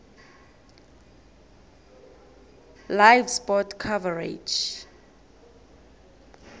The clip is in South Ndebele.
live sport coverage